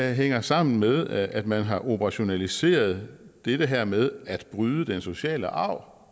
hænger sammen med at man har operationaliseret det her med at bryde den sociale arv